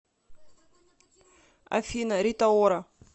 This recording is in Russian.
афина рита ора